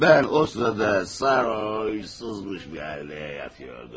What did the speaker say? Mən o sırada sarhoşmuş halıyla yatıyordum.